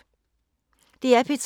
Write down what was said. DR P3